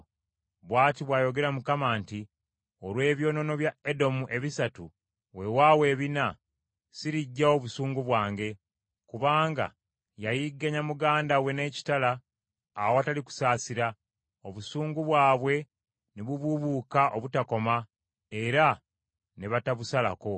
Bw’ati bw’ayogera Mukama nti, “Olw’ebyonoono bya Edomu ebisatu, weewaawo ebina, siriggyawo busungu bwange. Kubanga yayigganya muganda we n’ekitala awatali kusaasira, obusungu bwabwe ne bubuubuuka obutakoma era ne batabusalako.